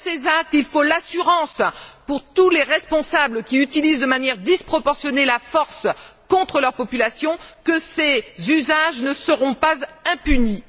Dans ces actes, il faut l'assurance, pour tous les responsables qui utilisent de manière disproportionnée la force contre leur population, que ces usages ne seront pas impunis.